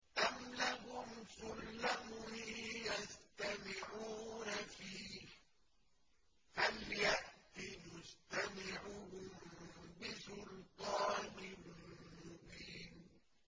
أَمْ لَهُمْ سُلَّمٌ يَسْتَمِعُونَ فِيهِ ۖ فَلْيَأْتِ مُسْتَمِعُهُم بِسُلْطَانٍ مُّبِينٍ